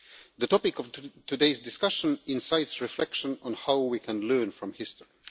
The topic of today's discussion incites reflection on how we can learn from history.